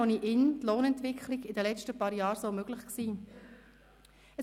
Wäre ohne ihn die Lohnentwicklung in den letzten paar Jahren so möglich gewesen?